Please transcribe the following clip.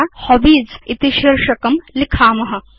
अथ वयं हॉबीज इति शीर्षकं लिखेम